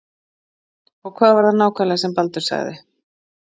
Og hvað var það nákvæmlega sem Baldur sagði?